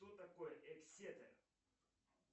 кто такой эксетер